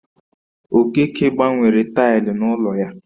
Okeke gbanwere taịlị n'ụlọ ya